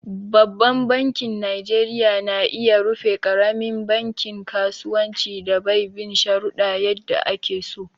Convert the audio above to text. Babban banki najeriya na iya rufe ƙaramin bankin kasuwancin da bai bin shuruɗa yadda ake so.